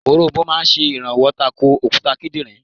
Òronbó máa sè rànwó tako òkúta kídìnrín